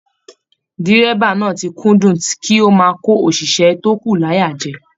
Dírẹ́bà náà ti kúndùn kí o máa ko oṣiṣẹ to kù l'aya jẹ.